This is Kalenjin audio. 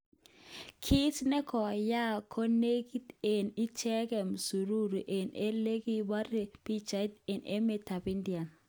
Kit nekoyaak ko nekit eng icheget msururu eng ele kibirgoge pichait eng emet ab India.